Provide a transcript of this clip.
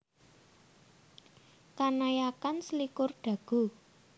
Kanayakan selikur Dago